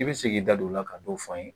I bɛ se k'i da don o la ka dɔ f'an ye